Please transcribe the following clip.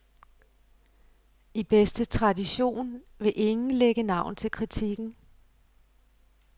I bedste tradition vil ingen lægge navn til kritikken.